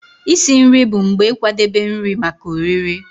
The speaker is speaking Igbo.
Isi nri bụ mgbe ịkwadebe nri maka oriri.